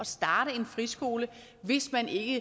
starte en friskole hvis man ikke